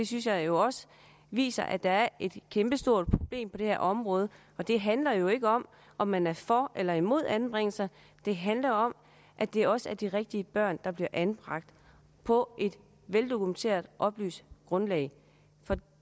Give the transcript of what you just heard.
synes jeg jo også viser at der er et kæmpestort problem på det her område og det handler jo ikke om om man er for eller imod anbringelser det handler om at det også er de rigtige børn der bliver anbragt på et veldokumenteret oplyst grundlag for